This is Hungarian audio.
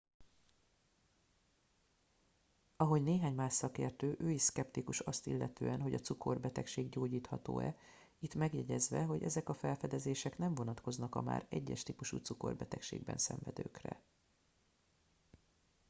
ahogy néhány más szakértő ő is szkeptikus azt illetően hogy a cukorbetegség gyógyítható e itt megjegyezve hogy ezek a felfedezések nem vonatkoznak a már 1 es típusú cukorbetegségben szenvedőkre